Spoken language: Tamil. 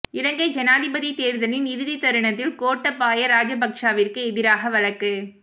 இலங்கை ஜனாதிபதி தேர்தலின் இறுதித் தருணத்தில் கோட்டாபய ராஜபக்ஷவிற்கு எதிராக வழக்கு